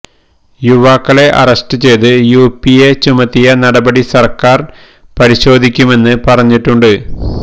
യുവാക്കളെ അറസ്റ്റ് ചെയ്ത് യുഎപിഎ ചുമത്തിയ നടപടി സര്ക്കാര് പരിശോധിക്കുമെന്ന് പറഞ്ഞിട്ടുണ്ട്